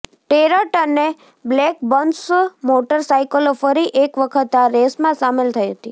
tarot અને Blackburns મોટરસાઇકલો ફરી એક વખત આ રેસમાં સામેલ થઈ હતી